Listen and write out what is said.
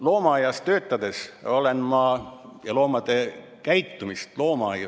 Loomaaias töötades ma loomade käitumist uurisin.